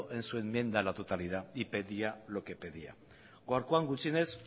en su enmienda a la totalidad y pedía lo que pedía gaurkoan gutxienez